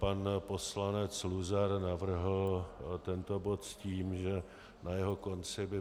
Pan poslanec Luzar navrhl tento bod s tím, že na jeho konci by